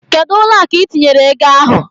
Kedụ ụlọ akụ itinyere ego ahụ?